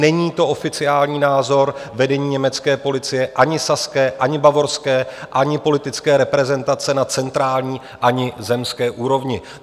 Není to oficiální názor vedení německé policie, ani saské, ani bavorské, ani politické reprezentace na centrální ani zemské úrovni.